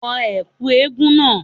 Wọ ẹ̀kú eégún náà